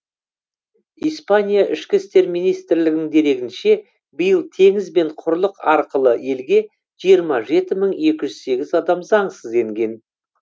испания ішкі істер министрлігінің дерегінше биыл теңіз бен құрлық арқылы елге жиырма жеті мың екі жүз сегіз адам заңсыз енген